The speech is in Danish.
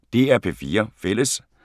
DR P4 Fælles